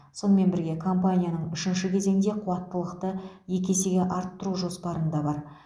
сонымен бірге компанияның үшінші кезеңде қуаттылықты екі есеге арттыру жоспарында бар